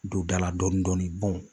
Don da la dɔɔnin dɔɔnin